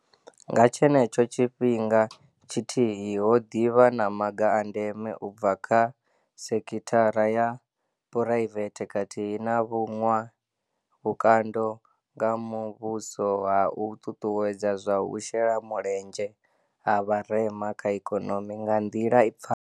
Nga tshenetsho tshifhinga tshithihi, ho ḓi vha na maga a ndeme u bva kha sekhi thara ya phuraivethe khathihi na vhuṅwe vhukando nga muvhuso ha u ṱuṱuwedza zwa u shela mulenzhe ha vharema kha ikonomi nga nḓila i pfalaho.